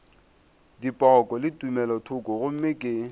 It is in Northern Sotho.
dipoko le tumelothoko gomme ke